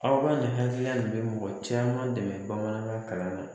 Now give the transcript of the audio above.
Aw ka nin ladiya nin bɛ mɔgɔ caman dɛmɛ bamanankan kalanin na.